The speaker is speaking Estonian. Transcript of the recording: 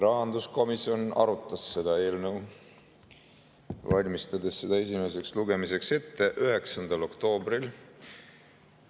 Rahanduskomisjon arutas seda eelnõu esimeseks lugemiseks ette valmistades 9. oktoobril.